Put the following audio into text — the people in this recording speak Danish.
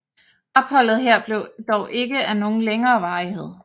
Opholdet her blev dog ikke af nogen længere varighed